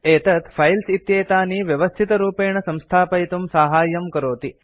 एतत् फाइल्स् इत्येतानि व्यवस्थितरूपेण संस्थापयितुं साहाय्यं करोति